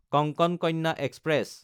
Konkan Kanya express